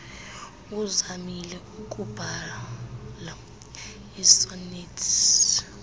uzamile ukubhaia iisonethi